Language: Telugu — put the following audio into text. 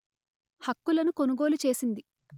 హక్కులను కొనుగోలు చేసింది